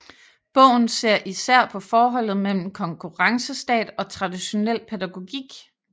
Bogen ser især på forholdet mellem konkurrencestat og traditionel pædagogik